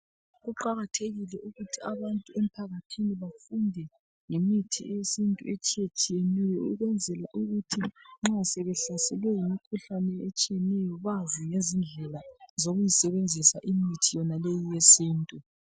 Kuqakathekile ukuthi abantu emphakathini bafunde ngemithi yesintu etshiyetshiyeneyo ukwenzela ukuthi nxa sebehlaselwe yimikhuhlane etshiyeneyo bazi ngezindlela zokuyisebenzisa imithi yonaleyi yesintu.